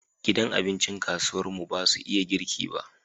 Gidan abincin kasuwar mu basu iya girki ba